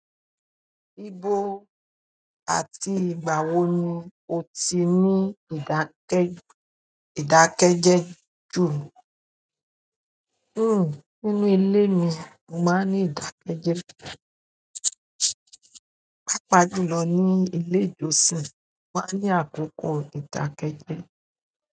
Ibo àti ìgbà wo ni o ti ní ìdákẹ́jẹ́ jù? Hmm, nínú ilé mi, mo máa ní ìdákẹ́jẹ́. Pápá jù lọ ní ilé ìjọsìn mo máa ní àkókò ìdákẹ́jẹ́.